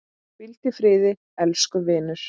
Hvíldu í friði, elsku vinur.